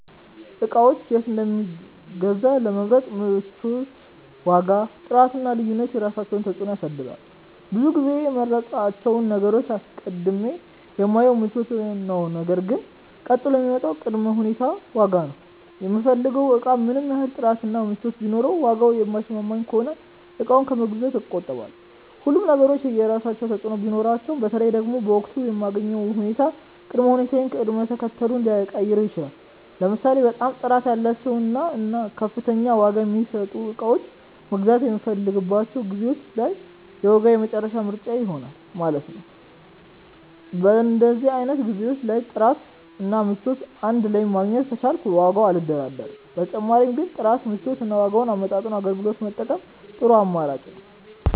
እቃዎችን የት እንደምገዛ ለመምረጥ ምቾት፣ ዋጋ፣ ጥራት እና ልዩነት የራሳቸውን ተፅዕኖ ያሳድራሉ። ብዙ ጊዜ የምመርጣቸውን ነገሮች አስቀድሜ የማየው ምቾታቸውን ነው ነገር ግን ቀጥሎ የሚመጣው ቅድመ ሁኔታ ዋጋ ነው። የምፈልገው እቃ ምንም ያህል ጥራት እና ምቾት ቢኖረውም ዋጋው የማይስማማኝ ከሆነ እቃውን ከመግዛት እቆጠባለሁ። ሁሉም ነገሮች የየራሳቸው ተፅእኖ ቢኖራቸውም በተለይ ደግሞ በወቅቱ የምገኝበት ሁኔታ ቅድመ ሁኔታዬን ቅደም ተከተሉን ሊቀያይረው ይችላል። ለምሳሌ በጣም ጥራት ያላቸውን እና ከፍተኛ ዋጋ የሚያስወጡ እቃዎችን መግዛት የምፈልግባቸው ጊዜዎች ላይ ዋጋ የመጨረሻ ምርጫዬ ይሆናል ማለት ነው። በእንደዚህ አይነት ጊዜዎች ላይ ጥራት እና ምቾት እንድ ላይ ማግኘት ከቻልኩ በዋጋው አልደራደርም። በተጨማሪ ግን ጥራትን፣ ምቾትን እና ዋጋን አመጣጥኖ አገልግሎት መጠቀም ጥሩ አማራጭ ነው።